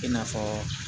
I n'a fɔ